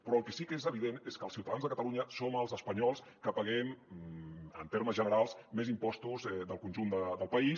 però el que sí que és evident és que els ciutadans de catalunya som els espanyols que paguem en termes generals més impostos del conjunt del país